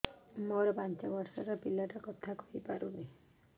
ମୋର ପାଞ୍ଚ ଵର୍ଷ ର ପିଲା ଟା କଥା କହି ପାରୁନି